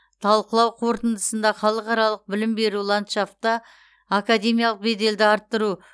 талқылау қорытындысында халықаралық білім беру ландшафта академиялық беделді арттыру